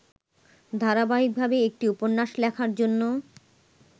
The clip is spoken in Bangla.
ধারাবাহিকভাবে একটি উপন্যাস লেখার জন্য